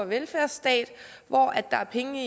velfærdsstat hvor der er penge